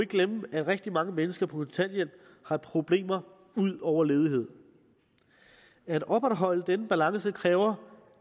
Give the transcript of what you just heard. glemme at rigtig mange mennesker på kontanthjælp har problemer ud over ledighed at opretholde denne balance kræver